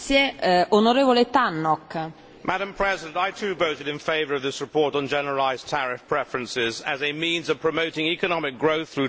Madam President, I too voted in favour of this report on generalised tariff preferences as a means of promoting economic growth through trade in developing countries.